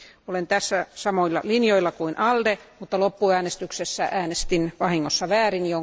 Olen tässä samoilla linjoilla kuin ALDE, mutta loppuäänestyksessä äänestin vahingossa väärin.